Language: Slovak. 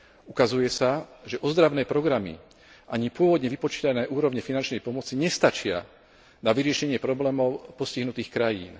Ukazuje sa, že ozdravné programy ani pôvodne vypočítané úrovne finančnej pomoci nestačia na vyriešenie problémov postihnutých krajín.